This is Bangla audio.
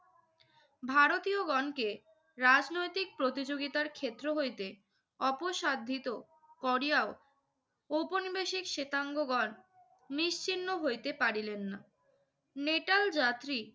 ভারতীয়গণকে রাজনৈতিক প্রতিযোগিতার ক্ষেত্র হইতে অপসাধ্যিতো করিয়াও ঔপনিবেশিক শেতাঙ্গগণ নিশ্চিহ্ন হইতে পারিলেন না। নেটাল যাত্রী